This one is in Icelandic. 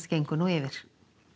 gengur nú yfir